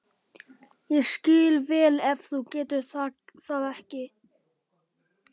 Ég skil vel ef þú getur það ekki.